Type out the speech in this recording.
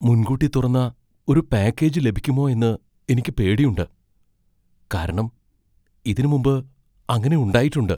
മുൻകൂട്ടി തുറന്ന ഒരു പാക്കേജ് ലഭിക്കുമോ എന്ന് എനിക്ക് പേടിയുണ്ട് , കാരണം ഇതിനു മുമ്പ് അങ്ങനെ ഉണ്ടായിട്ടുണ്ട് .